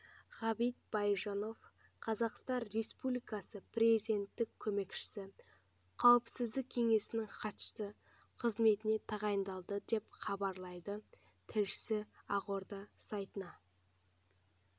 ғабит байжанов қазақстан республикасы президентінің көмекшісі қауіпсіздік кеңесінің хатшысы қызметіне тағайындалды деп хабарлайды тілшісі ақорда сайтына